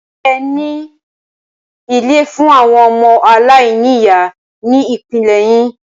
Ṣẹ ní ilé fún àwọn ọmọ aláìní ìyá ní ìpínlẹ̀ yín?